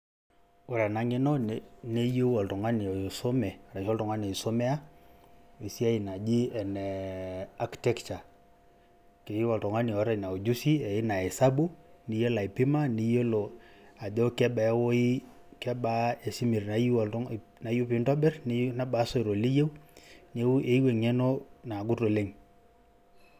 ore ena ng'eno, neyieu oltung'ani oisume, arashu oltung'ani oisomea esiai naji ene architecture. Keyieu oltung'ani oota ina ujuzi oina esabu, niyiola aipima, niyiolo ajoo kebaa ewuoi...kebaa esimiti nayieu pee intobirr, nebaa isoito liyieu, neaku eyieu eng'eno naagut oleng'